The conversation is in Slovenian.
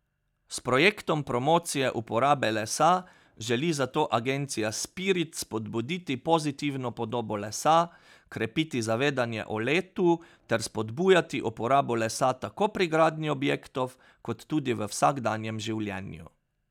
S projektom promocije uporabe lesa želi zato agencija Spirit spodbuditi pozitivno podobo lesa, krepiti zavedanje o letu ter spodbujati uporabo lesa tako pri gradnji objektov kot tudi v vsakdanjem življenju.